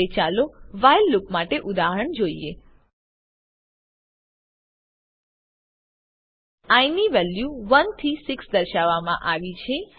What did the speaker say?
હવે ચાલો while loop માટે ઉદાહરણ જોઈએ આઇ ની વેલ્યુ 1 થી 6 દર્શાવવામાં આવી છે